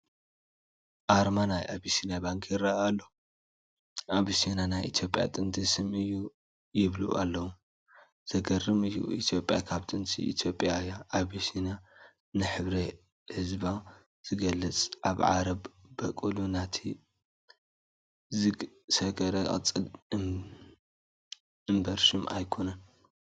ኣርማ ናይ ኣቢሲንያ ባንክ ይርአ ኣሎ፡፡ ኣቢሲንያ ናይ ኢትዮጵያ ጥንቲ ስም እዩ ይብሉ ኣለዉ፡፡ ዘግርም እዩ! ኢትዮጵያ ካብ ጥንቲ ኢትዮጵያ እያ፡፡ ኣቢሲንያ ንሕብሪ ሕዝባ ዝገልፅ ኣብ ዓረብ በቊሉ ናብ ላቲን ዝሰገረ ቅፅል እምበር ሽም ኣይኮነን፡፡